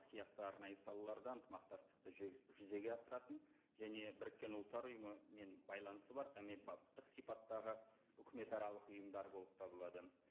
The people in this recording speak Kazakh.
сияқты арнайы салалардан ынтымақтастықты жүзеге асыратын және біріккен ұлттар ұйымымен байланысы бар әмбебаптық сипаттағы үкіметаралық ұйымдар болып табылады